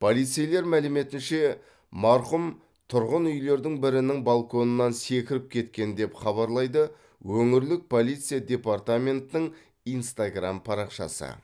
полицейлер мәліметінше марқұм тұрғын үйлердің бірінің балконынан секіріп кеткен деп хабарлайды өңірлік полиция департаментінің инстаграм парақшасы